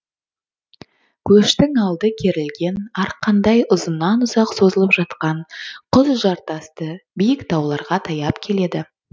көштің алды керілген арқандай ұзыннан ұзақ созылып жатқан құз жартасты биік тауларға таяп келеді